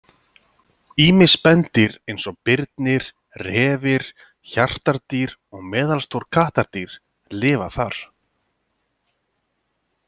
Ýmis spendýr eins og birnir, refir, hjartardýr og meðalstór kattardýr lifa þar.